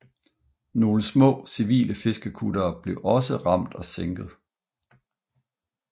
Nogle små civile fiskekuttere blev også ramt og sænket